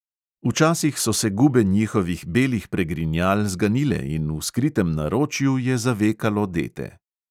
Včasih so se gube njihovih belih pregrinjal zganile in v skritem naročju je zavekalo dete.